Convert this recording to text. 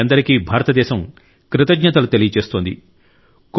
మీ అందరికీ భారతదేశం కృతజ్ఞతలు తెలియజేస్తోంది